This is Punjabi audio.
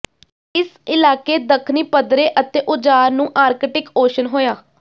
ਇਸ ਇਲਾਕੇ ਦੱਖਣੀ ਪੱਧਰੇ ਅਤੇ ਉਜਾਡ਼ ਨੂੰ ਆਰਕਟਿਕ ਓਸ਼ਨ ਹੋਇਆ